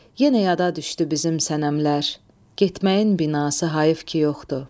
Yenə yada düşdü bizim sənəmlər, getməyin binası hayıf ki yoxdur.